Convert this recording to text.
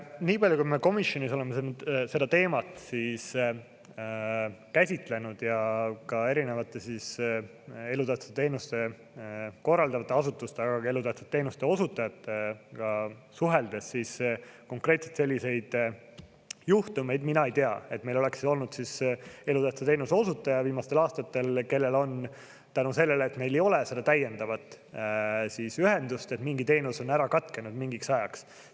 Nii palju, kui me komisjonis oleme seda teemat käsitlenud ja ka erinevate elutähtsat teenust korraldavate asutustega, aga ka elutähtsate teenuste osutajatega suheldes, siis konkreetselt selliseid juhtumeid mina ei tea, et meil oleks olnud elutähtsa teenuse osutaja viimastel aastatel, kellel on tänu sellele, et meil ei ole seda täiendavat ühendust, mingi teenus ära katkenud mingiks ajaks.